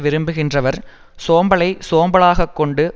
விரும்புகின்றவர் சோம்பலை சோம்பலாகக் கொண்டு